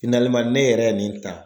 ne yɛrɛ nin ta.